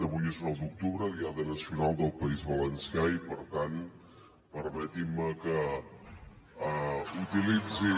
avui és nou d’octubre diada nacional del país valencià i per tant permetin me que utilitzi